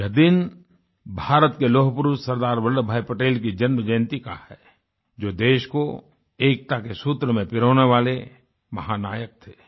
यह दिन भारत के लौह पुरुष सरदार वल्लभभाई पटेल की जन्म जयंती का है जो देश को एकता के सूत्र में पिरोने वाले महानायक थे